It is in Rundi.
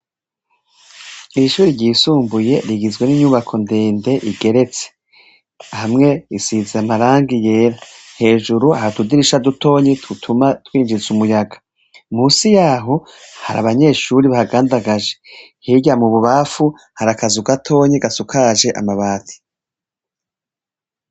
Ishuri ryisumbuye rigizwe n'inyubako ndende igeretse hamwe isiza amaranga yera hejuru ahatudirisha dutonyi tutuma twinjize umuyaga musi yaho hari abanyeshuri bahagandagaje hirya mu bubafu harakaza ugatonyi gasukaje amabati ii.